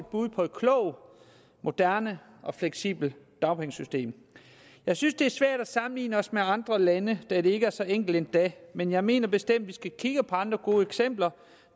bud på et klogt moderne og fleksibelt dagpengesystem jeg synes det er svært at sammenligne os med andre lande da det ikke er så enkelt endda men jeg mener bestemt at vi skal kigge på andre gode eksempler